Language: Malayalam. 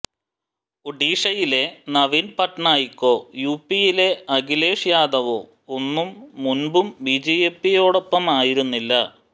ഒഡീഷയിലെ നവീന് പട്നായിക്കോ യുപിയിലെ അഖിലേഷ് യാദവോ ഒന്നും മുന്പും ബിജെപിയോടൊപ്പമായിരുന്നില്ല